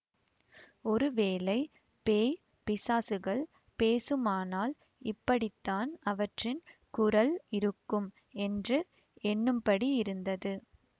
ஒருவேளை பேய் பிசாசுகள் பேசுமானால் இப்படித்தான் அவற்றின் குரல் இருக்கும் என்று எண்ணும்படியிருந்தது